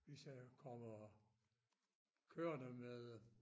Hvis jeg jo kommer kørende med